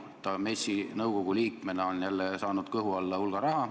Ta on MES-i nõukogu liikmena jälle saanud kõhu alla hulga raha.